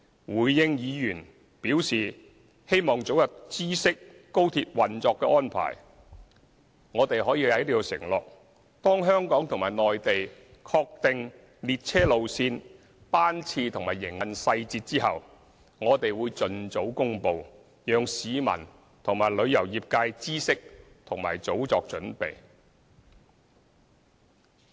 回應議員表示希望早日知悉廣深港高鐵運作的安排，我們可以在此承諾，當香港和內地確定列車路線、班次和營運細節後，我們會盡早公布，讓市民和旅遊業界知悉和早作準備。